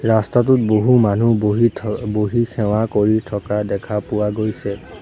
ৰাস্তাটোত বহু মানুহ বহি থ বহি সেৱা কৰি থকা দেখা পোৱা গৈছে।